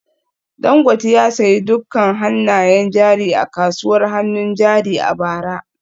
Dangote ya sayi dukkan hannayen jari a kasuwar hannun jari a bara